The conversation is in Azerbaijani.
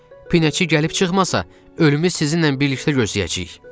Pinəçi gəlib çıxmasa, ölümü sizinlə birlikdə gözləyəcəyik.